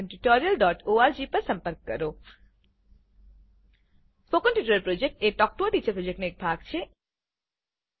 spoken tutorial project એ talk to a teacher પ્રોજેક્ટનો એક ભાગ છે